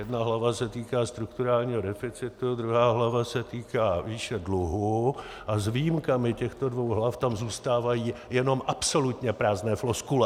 Jedna hlava se týká strukturálního deficitu, druhá hlava se týká výše dluhu a s výjimkami těchto dvou hlav tam zůstávají jenom absolutně prázdné floskule.